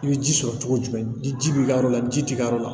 I bɛ ji sɔrɔ cogo jumɛn ni ji b'i ka yɔrɔ la ji t'i ka yɔrɔ la